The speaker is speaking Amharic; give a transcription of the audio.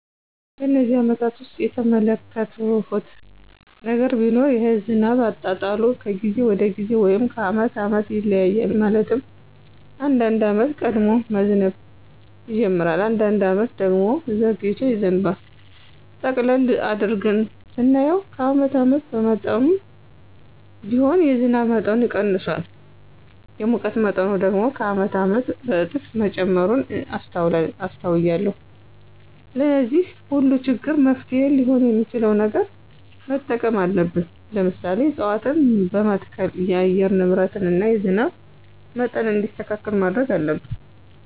በነዚህ አመታት ውስጥ የተመለከትሁት ነገር ቢኖር የዝናብ አጣጣሉ ከጊዜ ወደ ጊዜ ወይም ከአመት አመት ይለያያል። ማለትም አንዳንድ አመት ቀድሞ መዝነብ ይጅምራል። አንዳንድ አመት ደግሞ ዘግይቶ ይዘንባል። ጠቅለል አድርገን ስናየው ከአመት አመት በመጠኑም ቢሆን የዝናብ መጠኑ ቀንሷል። የሙቀት መጠኑ ደግሞ ከአመት አመት በእጥፍ መጨመሩን አስተውያለሁ። ለዚህ ሁሉ ችግር መፍትሔ ሊሆን የሚችል ነገር መጠቀም አለብን። ለምሳሌ፦ እፅዋትን በመትከል የአየር ንብረትን እና የዝናብ መጠን እንዲስተካከል ማድረግ አለብን።